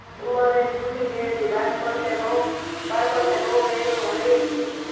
એ મારે છૂટી ગયેલી બાળપણ ને નો વહેલો હળવેક થી